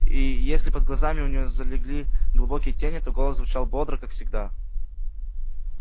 и если под глазами у неё залегли глубокие тени то голос звучал бодро как всегда